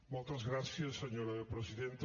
moltes gràcies senyora presidenta